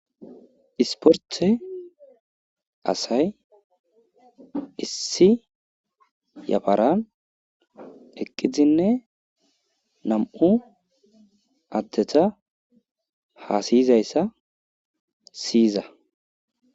Isporte asay issi yaparan eqidine nam'u adeta hasayizasa siyiza